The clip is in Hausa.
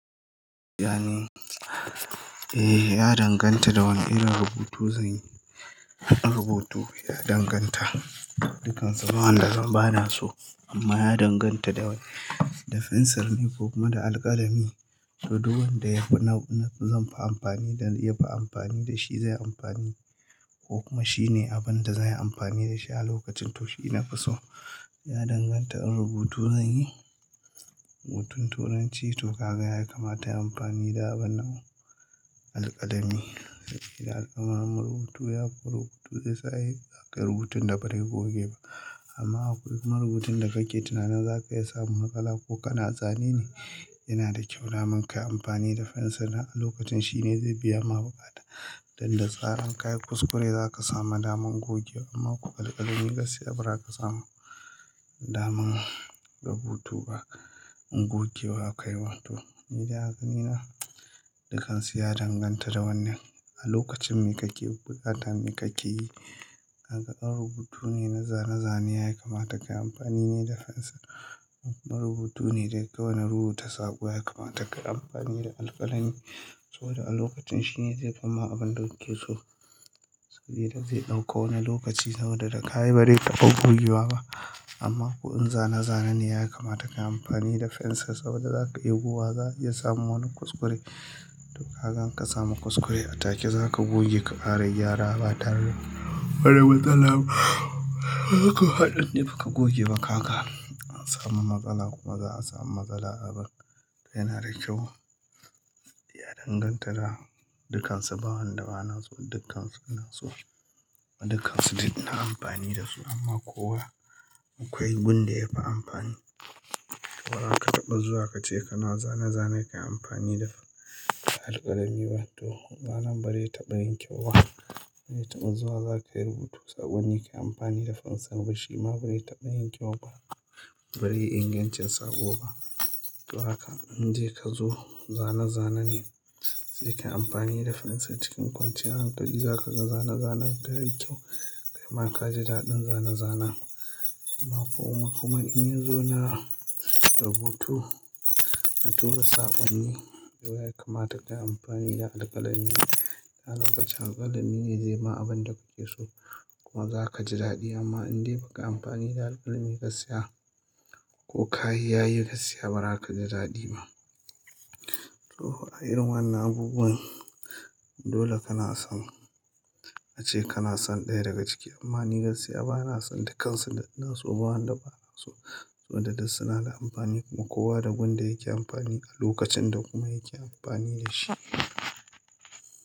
Eh ya danganta da wane irin rubutu zan yi. In rubutu ya danganta, dukansu bawan da zan bana so, amma ya danganta da fensir ne ko kuma da alƙalami. So duk wanda yafi na zanfi amfani da yafi amfani da shi zan yi amfani, ko kuma shine abin da zan yi amfani da shi a lokacin to shi ina fi so. Ya danganta in rubutu zan yi, rubutun turanci to kaga ya ya kamata in yi amfani da wannan, alƙalami. Alƙalamin rubutu yafi rubutu yasa ake rubutun da ba dai goge ba amma in kuma rubutun da kake tunanin zaka iya samun matsala ko kana zane ne yana da kyau daman ka yi amfani da fensir dam a lokacin shine zai biya ma buƙata. Dan da tsaran kayi kuskure zaka samu naman goge amma kuma alkalami gaskiya bara ka samu daman rubutu ba gogewa kai ma. To ni dai haka ni, dukansu ya danganta da wannan, a lokacin me kake buƙata, me kake yi, haka in rubutu ne na zane-zane ya kamata kayi amfani ne da fensir kuma rubutu ne da kawai na rubuta saƙo ya kamata kayi amfani da alƙalami, saboda a lokacin shine zai fi ma abin da kuke so. Saboda zai ɗauka wani lokaci, saboda da ka yi bare taɓa gogewa ba amma ko in zane-zane ne ya kamata kayi amfani da fensir saboda zaka iya gogewa za a iya samu wani kuskure. Kagan in ka samu kuskure a take zaka goge ka ƙara gyara ba tare da wani matsala ba. Ko haɗin dai ba ka goge ba kaga, an samu matsala kuma za a samu matsala abun yana da kyau. Ya danganta da dukansu ba wanda bana so, dukansu ina so. Dukansu duk ina amfani da su amma kowa akwai gun da yafi amfani. Bara ka taɓa zuwa kace kana zane-zane kayi amfani da alƙalami ba to zanen bari ya taɓa yin kyau ba. Bara taɓa zuwa zaka yi rubutu saƙonni ba kayi amfani da fensir ba shi ma bare taɓa yin kyau ba, bare yi ingancin saƙo ba. To haka in de kazo zane-zane ne sai kayi amfani da fensir cikin kwanciyar hankali zaka zane-zanen kai yi kyau, kaima ka ji daɗin zane-zane. Amma kuma in yi zuwa na rubutu na tura saƙonni to ya kamata kayi amfani da alƙalami. A lokacin alƙalami ne zai ma abin da kuke so kuma zaka ji daɗi amma in dai baka amfani da alƙalami gaskiya ko ka yi yayi gaskiya ba ra ka ji daɗi ba. To a irin wannan abubuwan dole kana son ace kana son ɗaya daga ciki amma ni gaskiya bana son dukansu da nason bawon da bana so. Wamda duk suna da amfani kuma kowa da gun da yake amfani a lokacin da kuma yake amfani da shi.